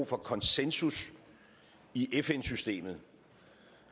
for konsensus i fn systemet